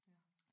Ja